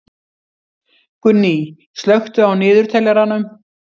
Gunný, slökktu á niðurteljaranum.